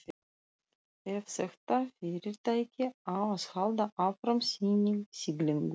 Ef þetta fyrirtæki á að halda áfram sinni siglingu.